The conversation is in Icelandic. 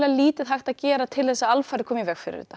lítið hægt að gera til að koma í veg fyrir þetta